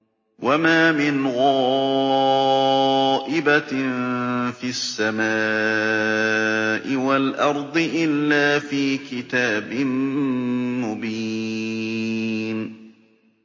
وَمَا مِنْ غَائِبَةٍ فِي السَّمَاءِ وَالْأَرْضِ إِلَّا فِي كِتَابٍ مُّبِينٍ